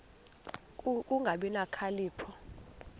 ku kungabi nokhalipho